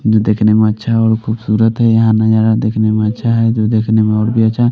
जो देखने में अच्छा और खूबसूरत है यहाँ नजारा देखने में अच्छा है जो देखने में और भी अच्छा है।